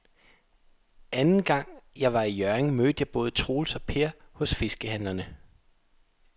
Anden gang jeg var i Hjørring, mødte jeg både Troels og Per hos fiskehandlerne.